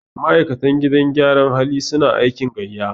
ma'aikatan gidan gyaran hali suna aiki gaiya